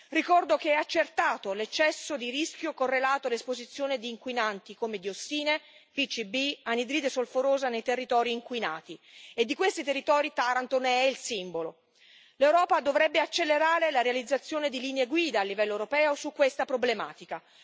Ricordo che è accertato l'eccesso di rischio correlato all'esposizione di inquinanti come diossine, pcb e anidride solforosa nei territori inquinati, e di questi territori Taranto ne è il simbolo. L'Europa dovrebbe accelerare la realizzazione di linee guida a livello europeo su questa problematica.